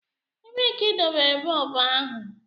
Ebee ka idobere bọlbụ ahụ?